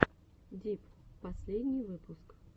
дип последний выпуск